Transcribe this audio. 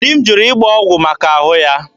Di m jụrụ ịgba ọgwụ maka ahụ ya.